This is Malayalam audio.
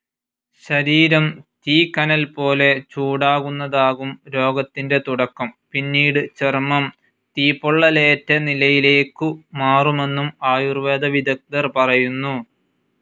ശരീരം തീക്കനൽപോലെ ചൂടാകുന്നതാകും രോഗത്തിൻ്റെ തുടക്കം, പിന്നീട് ചർമം തീപ്പൊള്ളലേറ്റനിലയിലേക്കു മാറുമെന്നും ആയുർവേദ വിദഗ്ദ്ധർ പറയുന്നു.